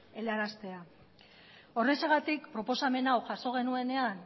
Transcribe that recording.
helaraztea horrexegatik proposamen hau jaso genuenean